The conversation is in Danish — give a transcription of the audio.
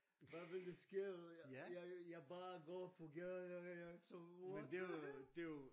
Hvad vil der ske jeg jeg bare går på gaden jeg what the hell